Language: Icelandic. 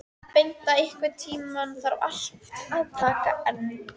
Bengta, einhvern tímann þarf allt að taka enda.